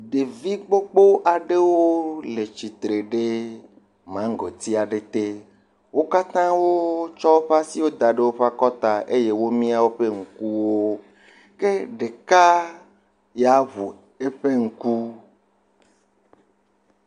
Ɖevi gbogbo aɖewo le tsitre ɖe magoti aɖe te. Wo katã wo tsɔ woƒe asiwo da ɖe woƒe akɔta eye wo mia woƒe ŋkuwo. Ke ɖeka ya ŋu eƒe ŋku.